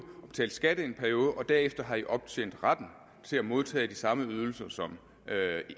og betale skat i en periode og derefter har i optjent retten til at modtage de samme ydelser som